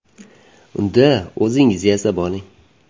Unda o‘zingiz yasab oling!